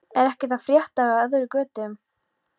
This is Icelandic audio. Er ekkert að frétta af öðru en götum?